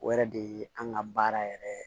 O yɛrɛ de ye an ka baara yɛrɛ ye